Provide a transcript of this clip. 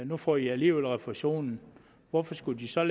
nu får i alligevel refusionen hvorfor skulle de så